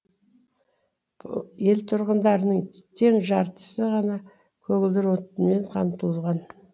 ел тұрғындарының тең жартысы ғана көгілдір отынмен қамтылған